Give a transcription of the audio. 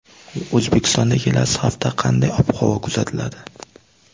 O‘zbekistonda kelasi hafta qanday ob-havo kuzatiladi?.